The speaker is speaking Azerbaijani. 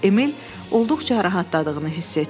Emil olduqca rahatladığını hiss etdi.